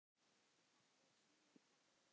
Þetta er snúinn texti.